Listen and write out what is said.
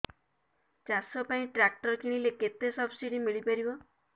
ଚାଷ ପାଇଁ ଟ୍ରାକ୍ଟର କିଣିଲେ କେତେ ସବ୍ସିଡି ମିଳିପାରିବ